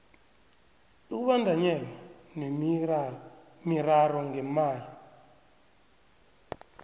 ukubandanyelwa miraro ngemali